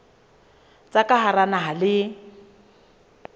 tsa ka hara naha le